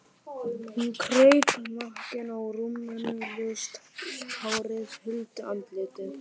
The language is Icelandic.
Hún kraup nakin á rúminu, ljóst hárið huldi andlitið.